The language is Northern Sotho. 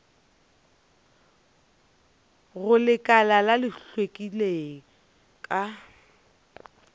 go lekala la hlweki ka